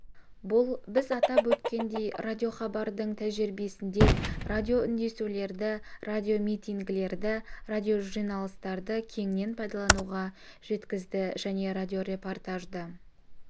бұл біз атап өткендей радиохабардың тәжірибесінде радиоүндесулерді радиомитингілерді радиожиналыстарды кеңінен пайдалануға жеткізді және радиорепортажды